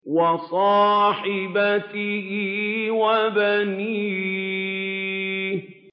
وَصَاحِبَتِهِ وَبَنِيهِ